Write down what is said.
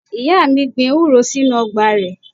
Ìyá mi gbin ewúro sínú Ọgbà rẹ̀